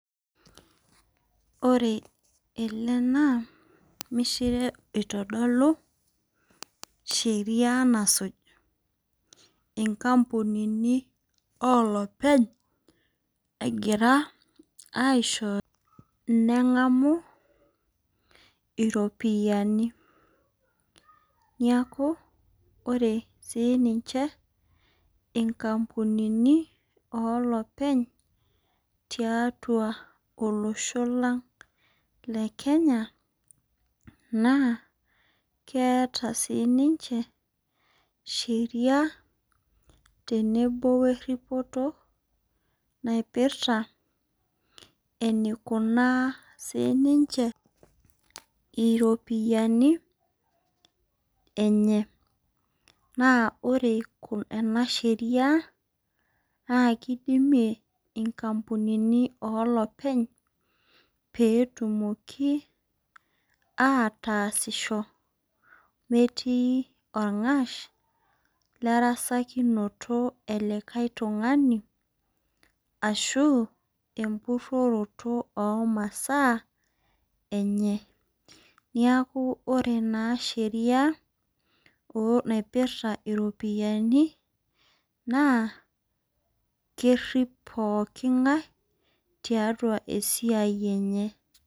Ore ele naa ormishire oitodolu sheria nasuj inkampunini olopeny egira aishoyo nengamu iropiyiani niaku ore siniche inkampunini olopeny tiatua olosho lang' lekenya naa keeta siniche sheria tenebo weripoto naipirta enikunaa siniche iropiyiani .Naa ore ena sheria naa kidimie inkampunini olopeny petumoki ataasisho metii orng'ash lerasakinoto elikae tung'ani ashu empuoroto omasaa enye .Niaku ore naa sheria naiprta iropiyiani naa kerip pooking'ae tiatua esiai enye.